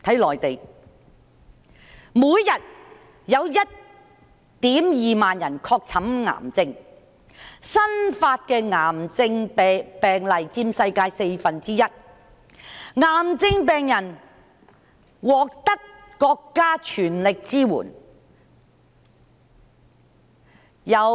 內地每天有 12,000 人確診癌症，新發癌症病例佔世界四分之一，癌症病人獲得國家全力支援。